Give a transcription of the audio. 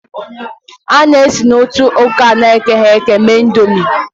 A na-esi na ntụ ọka na-ekoghị eko mee Ị̀ndómị́